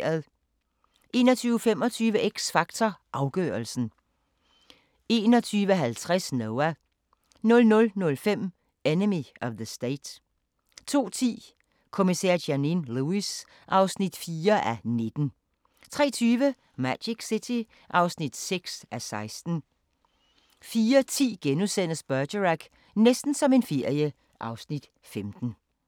21:25: X Factor Afgørelsen 21:50: Noah 00:05: Enemy of the State 02:10: Kommissær Janine Lewis (4:19) 03:20: Magic City (6:16) 04:10: Bergerac: Næsten som en ferie (Afs. 15)*